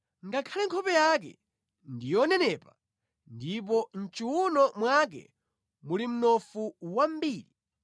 “Ngakhale nkhope yake ndi yonenepa ndipo mʼchiwuno mwake muli mnofu wambiri,